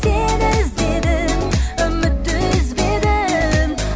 сені іздедім үмітті үзбедім